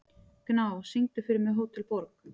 Gná, syngdu fyrir mig „Hótel Borg“.